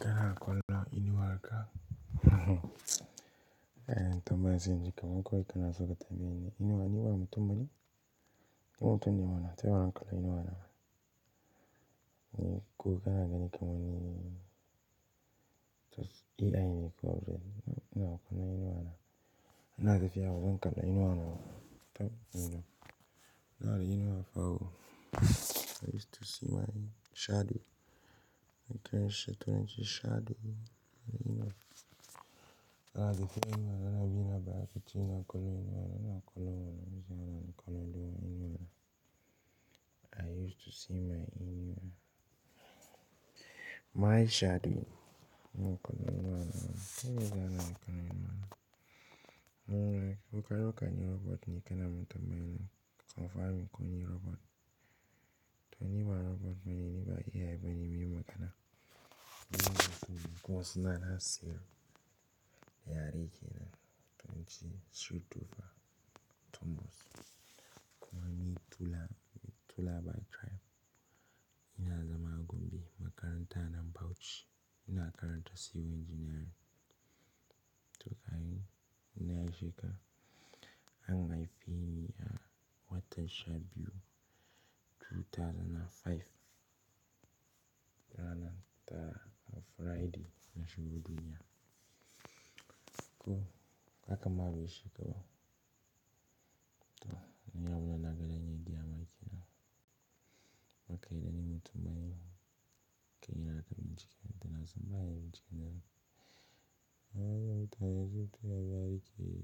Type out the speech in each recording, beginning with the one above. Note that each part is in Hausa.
Kana kallon inuwan ka. Kai tambayi cewa mun koyi kanazu ka tambayi ni inuwa ni waye mutum bane? Inuwa mutum ne mana, ta yaya zan kula inuwa na? Ko kana gani kamar ni AI ne ko brain ina kula inuwa na. Ina tafiya bazan kala inuwa na ba. You know, ina da inuwa fa o. I used to see my shadow. Na tona shi shadow na inuwa. Na haife ni mana, na bi na baya fitina, kolin inuwa na, na kallo mana, zanana kallo lemon inuwa na. I used to see my inuwa. My shadow mun kallo lemon mana, ta yaya zanana kallo inuwa na? Mun riga muka roka ni robot ni kana mun tambayi nan, confirm in ko ni robot. To inuwa robot mana ne ba AI bane, me maka na? Mun goge gidan suna na zero da yarike na, tunji three two five tumbos. Kunami Tula, Tula by tribe. Ina zama Gombe, makaranta na Bauchi. Ina karanta civil engineering. To kai, Nigeria. An haife ni a wata sha biyu, 2005. Rana ta, a Friday, na shubu duniyya. Ko kaka marushe kawo. To, ina yawanana gani media ma yake na. Makaidani mutum ba yi ma, kai yana kamun cike, tana zamba yayi mutune. Ta yaya zai taya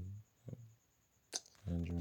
yarike?